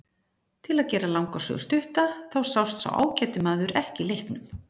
Til að gera langa sögu stutta þá sást sá ágæti maður ekki í leiknum.